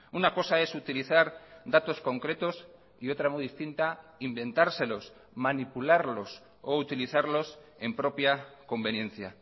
una cosa es utilizar datos concretos y otra muy distinta inventárselos manipularlos o utilizarlos en propia conveniencia